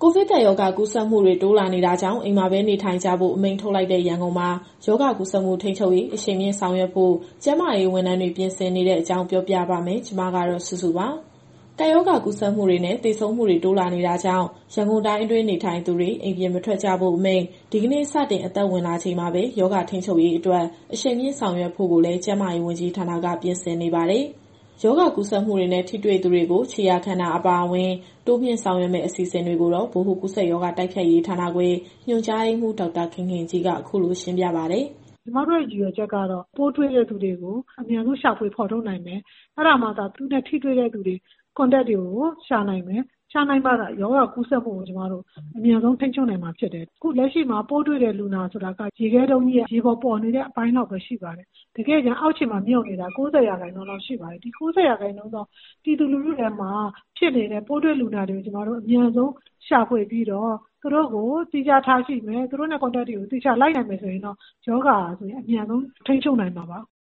ိုဗစ်ကပ်ရောဂါ ကူးစက်မှုတွေ တိုးလာနေတာကြောင့် အိမ်မှာပဲနေထိုင်ကြဖို့ အမိန့်ထုတ်လိုက်တဲ့ ရန်ကုန်မှာ ရောဂါကူးစက်မှု ထိန်းချုပ်ရေး အရှိန်မြှင့် ဆောင်ရွက်ဖို့ ကျန်းမာရေးဝန်ထမ်းတွေ ပြင်ဆင်နေတဲ့အကြောင်း ပြောပြပါမယ်။ ဒီသတင်းကို ဗွီအိုအေမြန်မာပိုင်း သတင်းထောက် မစုစုက တင်ဆက်ပေးမှာပါ။ ကပ်ရောဂါကူးစက်မှုတွေနဲ့ သေဆုံးမှုတွေ တိုးလာနေတာကြောင့် ရန်ကုန်တိုင်းအတွင်း နေထိုင်သူတွေ အိမ်ပြင်မထွက်ကြဖို့အမိန့် ဒီကနေ့ စတင်အသက်ဝင်လာချိန်မှာပဲ ရောဂါထိန်းချုပ်ရေးအတွက် အရှိန်မြှင့်ဆောင်ရွက်ဖို့လည်း ကျန်းမာရေးဝန်ကြီးဌာနက ပြင်ဆင်နေပါတယ်။ ရောဂါကူးစက်မှုတွေနဲ့ ထိတွေ့သူတွေကို ခြေရာခံတာ အပါအဝင် တိုးမြှင့်ဆောင်ရွက်မယ့် အစီအစဉ်တွေကိုတော့ ဗဟိုကူးစက်ရောဂါ တိုက်ဖျက်ရေးဌာနခွဲ ညွှန်ကြားရေးမှူး ဒေါက်တာခင်ခင်ကြီးက အခုလို ရှင်းပြပါတယ်။ “ကျမတို့ရဲ့ရည်ရွယ်ချက်ကတော့ ပိုးတွေ့တဲ့သူတွေကို အမြန်ဆုံးရှာဖွေဖော်ထုတ်နိုင်မယ်၊ အဲဒါမှသာ သူနဲ့ထိတွေ့ Contact တွေကို ရှာနိုင်မယ်။ ရှာနိုင်မှသာ ရောဂါကူးစက်မှုကို အမြန်ဆုံးထိန်းချုပ်နိုင်မှာဖြစ်တယ်။ အခုလက်ရှိမှာ ပိုးတွေ့တဲ့လူနာဆိုတာက ရေခဲတုန်းကြီးရဲ့ ရေပေါ်ပေါ်နေတဲ့အပိုင်းလောက်ပဲ ရှိပါတယ်။ တကယ့်တကယ် အောက်ခြေမှာမြုပ်နေတာ ၉၀ ရာခိုင်နှုန်းလောက်ရှိပါတယ်။ ဒီ ၉၀ ရာခိုင်နှုန်းသော ပြည်သူလူထုထဲမှာဖြစ်နေတဲ့ ပိုးတွေ့လူနာတွေကို အမြန်ဆုံးရှာဖွေပြီးတော့ သူတို့ကိုသီးခြားထားရှိမယ်၊ သူတို့နဲ့ Contact တွေကို သေချာလိုက်နိုင်မယ်ဆိုရင်တော့ ရောဂါအမြန်ဆုံး ထိန်းချုပ်နိုင်မှာပါ။"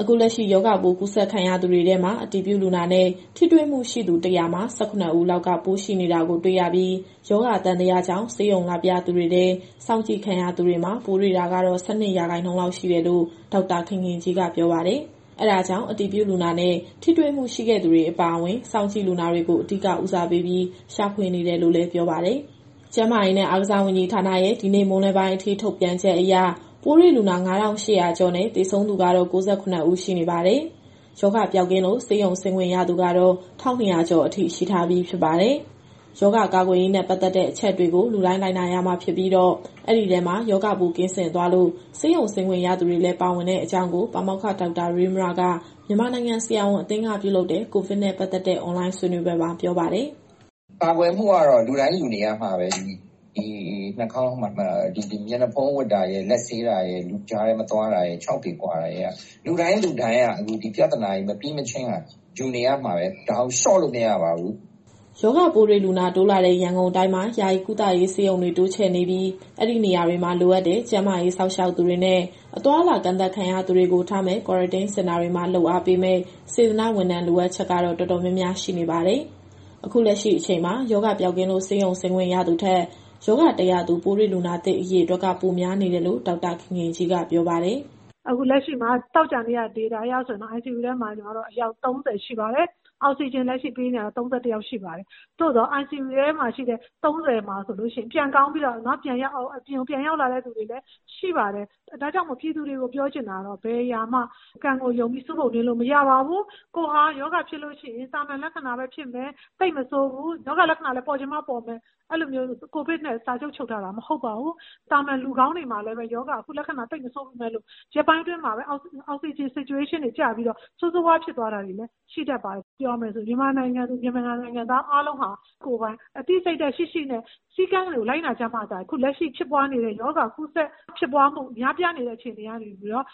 အခုလက်ရှိ ရောဂါပိုးကူးစက်ခံရသူတွေထဲမှာ အတည်ပြုလူနာနဲ့ ထိတွေ့မှုရှိသူ ၁၀၀ မှာ ၁၇ ဦးလောက်က ပိုးရှိနေတာကိုတွေ့ရပြီး၊ ရောဂါသံသကြောင့် ဆေးရုံလာပြသူတွေထဲ စောင့်ကြည့်ခံရသူတွေမှာ ပိုးတွေ့တာကတော့ ၁၂ ရာခိုင်နှုန်းလောက်ရှိတယ်လို့ ဒေါက်တာခင်ခင်ကြီးက ပြောပါတယ်။ အဲဒါကြောင့် အတည်ပြုလူနာနဲ့ ထိတွေ့မှုရှိခဲ့သူတွေအပါအဝင် စောင့်ကြည့်လူနာတွေကို အဓိကဦးစားပေးပြီး ရှာဖွေနေတယ်လို့လည်း ပြောပါတယ်။ ကျန်းမာရေးနဲ့ အားကစားဝန်ကြီးဌာနရဲ့ ဒီနေ့မွန်းလွဲပိုင်းအထိ ထုတ်ပြန်ချက်အရ ပိုးတွေ့လူနာ ၅,၈၀၀ ကျော်နဲ့ သေဆုံးသူကတော့ ၉၇ ဦး ရှိနေပါတယ်။ ရောဂါပျောက်ကင်းလို့ ဆေးရုံဆင်းခွင့်ရသူကတော့ ၁,၂၀၀ ကျော် ရှိထားပြီးဖြစ်ပါတယ်။ ရောဂါကာကွယ်ရေးနဲ့ ပတ်သက်တဲ့ အချက်တွေကို လူတိုင်းလိုက်နာရမှာဖြစ်ပြီးတော့ အဲဒီထဲမှာ ရောဂါပိုးကင်းစင်သွားလို့ ဆေးရုံဆင်းခွင့်ရသူတွေလည်း ပါဝင်တဲ့အကြောင်းကို ပါမောက္ခဒေါက်တာရဲမြက မြန်မာနိုင်ငံဆရာဝန်အသင်းက ပြုလုပ်တဲ့ ကိုဗစ်နဲ့ ပတ်သက်တဲ့ အွန်လိုင်းဆွေးနွေးပွဲမှာ ပြောပါတယ်။ “ကာကွယ်မှုကတော့ လူတိုင်းယူနေရမှာပဲ။ ဒီ Mask တပ်တာရယ်၊ လက်ဆေးတာရယ်၊ လူကြားထဲမသွားတာရယ်၊ ခြောက်ပေကွာတာရယ်က လူတိုင်းလူတိုင်းက အခုဒီပြဿနာမပြီးမချင်းက ယူနေရမှာပဲ။ ဒါကိုလျှော့လို့မရပါဘူး။" ရောဂါပိုးတွေ့လူနာတိုးလာတဲ့ ရန်ကုန်တိုင်းမှာ ယာယီကုသရေးဆေးရုံတွေ တိုးချဲ့နေပြီး အဲဒီနေရာတွေမှာ လိုအပ်တဲ့ ကျန်းမာရေးစောင့်ရှောက်သူတွေနဲ့ အသွားအလာကန့်သတ်ခံရသူတွေကို ထားမယ့် Quarantine Center တွေမှာ လုပ်အားပေးမယ့် စေတနာ့ဝန်ထမ်းလိုအပ်ချက်ကတော့ တော်တော်များများရှိနေပါတယ်။ အခုလက်ရှိအချိန်မှာ ရောဂါပျောက်ကင်းလို့ ဆေးရုံဆင်းရသူထက် ဆေးရုံတက်ရသူ ပိုးတွေ့လူနာသစ်အရေအတွက်က ပိုများနေတယ်လို့ ဒေါက်တာခင်ခင်ကြီးကပြောပါတယ်။ “အခုလက်ရှိမှာ သောကြာနေ့က ဒေတာအရဆိုရင်တော့ ICU ထဲမှာ အယောက် ၃၀ ရှိပါတယ်။ အောက်စီဂျင်ပေးနေရတာတော့ ၃၁ ယောက်ရှိပါတယ်။ သို့သော် ICU ထဲမှာရှိတဲ့ ၃၀ မှာ ပြန်ကောင်းပြီးတော့ အပြင်ပြန်ရောက်လာသူတွေလည်းရှိပါတယ်။ ဒါကြောင့်မို့ ပြည်သူတွေကိုပြောချင်တာကတော့ ဘယ်အရာမှ ကံကိုယုံပြီး ဆူးပုံနင်းလို့မရပါဘူး။ ကိုယ်ဟာရောဂါဖြစ်လို့ရှိရင် သာမန်လက္ခဏာပဲဖြစ်မယ်၊ သိပ်မဆိုးဘူး၊ ရောဂါလက္ခဏာလည်း ပေါ်ချင်မှပေါ်မယ်၊ အဲလိုမျိုး ကိုဗစ်နဲ့ စာချုပ်ချုပ်ထားတာ မဟုတ်ပါဘူး။ သာမန်လူကောင်းတွေမှာလည်း အခုရောဂါလက္ခဏာ သိပ်မဆိုးပေမဲ့လို့ ရက်ပိုင်းအတွင်းမှာပဲ Oxygen Saturation တွေကျပြီးတော့ ဆိုးဆိုးရွားရွားဖြစ်သွားတာတွေလည်း ရှိတတ်ပါတယ်။ ပြောရမယ်ဆို မြန်မာနိုင်ငံသူ နိုင်ငံသားအားလုံးဟာ ကိုယ်ပိုင်အသိစိတ်ဓာတ်ရှိရှိနဲ့ စည်းကမ်းတွေကိုလိုက်နာကြမှသာ အခုလက်ရှိဖြစ်ပွားနေတဲ့ ရောဂါကူးစက်ဖြစ်ပွားမှု များပြားနေတဲ့အခြေအနေကနေပြီးတော့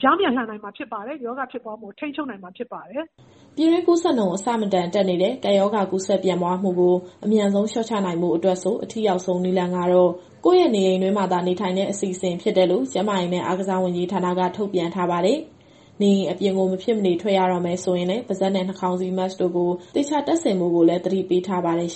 ပြောင်းပြန်လှန်နိုင်မှာဖြစ်ပါတယ်၊ ရောဂါဖြစ်ပွားမှုကို ထိန်းချုပ်နိုင်မှာဖြစ်ပါတယ်။" ပြည်တွင်းကူးစက်နှုန်း အဆမတန်တက်နေတဲ့ ကပ်ရောဂါကူးစက်ပြန့်ပွားမှုကို အမြန်ဆုံးလျှော့ချနိုင်ဖို့အတွက်ဆို အထိရောက်ဆုံးနည်းလမ်းကတော့ ကိုယ့်ရဲ့နေအိမ်တွင်းမှာသာနေထိုင်တဲ့အစီအစဉ်ဖြစ်တယ်လို့ ကျန်းမာရေးနဲ့ အားကစားဝန်ကြီးဌာနက ထုတ်ပြန်ထားပါတယ်။ နေအိမ်အပြင်ကို မဖြစ်မနေထွက်ရတော့မယ်ဆိုရင်လည်း ပါးစပ်နဲ့ နှာခါင်းစည်း Mask တို့ကို သေချာတပ်ဆင်ဖို့ကိုလည်း သတိပေးထားပါတယ်။